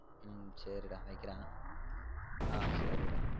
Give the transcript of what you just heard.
ஹம் சரி டா வைக்குரன் ஆஹ் சரி டா.